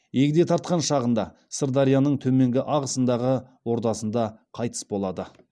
егде тартқан шағында сырдарияның төменгі ағысындағы ордасында қайтыс болады